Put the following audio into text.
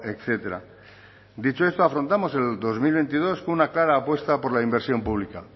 etcétera dicho esto afrontamos el dos mil veintidós con una clara apuesta por la inversión pública